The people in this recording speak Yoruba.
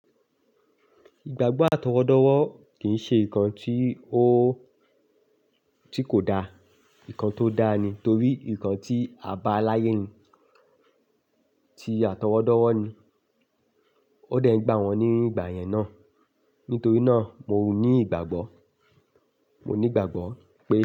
Ìgbàgbọ́ àtọwọ́dọ́wọ́ kì ń ṣe nǹkan tí ó, tí kò daa, nǹkan tó dáa ni torí nǹkan tí a bá láyé ń, tí àtọwọ́dọ́wọ́ ni, ó dẹ̀ ń gba wọn ní ìgbà yẹn náà. Nítorí náà mo ní ìgbàgbọ́, mo ní ìgbàgbọ́ pé.